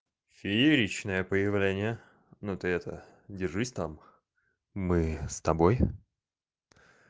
фееричное появление ну ты это держись там мы с тобой